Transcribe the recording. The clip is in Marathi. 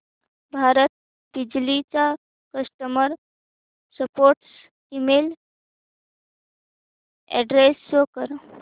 भारत बिजली चा customer support email address show कर